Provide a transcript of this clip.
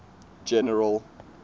general